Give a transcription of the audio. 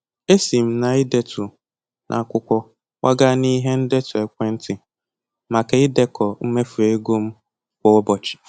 Esi m na-idetu n'akwụkwọ kwaga n'ihe ndetu ekwentị maka idekọ mmefu ego m kwa ụbọchị